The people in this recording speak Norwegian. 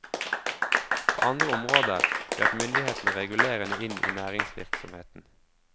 På andre områder grep myndighetene regulerende inn i næringsvirksomheten.